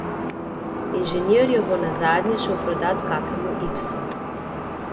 Inženir jo bo nazadnje šel prodat kakemu iksu.